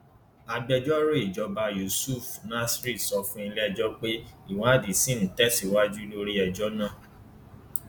agbẹjọrò ìjọba yusuf nasir sọ fún iléẹjọ pé ìwádìí ṣì ń tẹsíwájú lórí ẹjọ náà